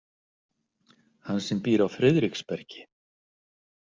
Hann sem býr á Friðriksbergi.